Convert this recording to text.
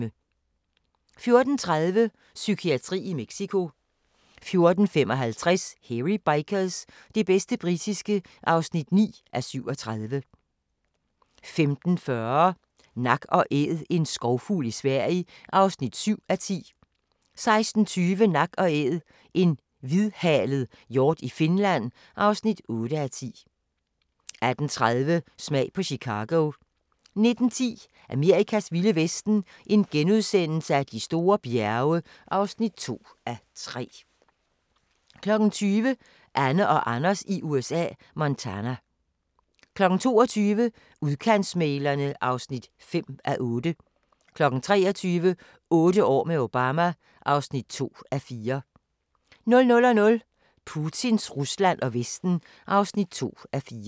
14:30: Psykiatri i Mexico 14:55: Hairy Bikers – det bedste britiske (9:37) 15:40: Nak & æd - en skovfugl i Sverige (7:10) 16:20: Nak & Æd – en hvidhalet hjort i Finland (8:10) 18:30: Smag på Chicago 19:10: Amerikas vilde vesten: De store bjerge (2:3)* 20:00: Anne og Anders i USA – Montana 22:00: Udkantsmæglerne (5:8) 23:00: Otte år med Obama (2:4) 00:00: Putins Rusland og Vesten (2:4)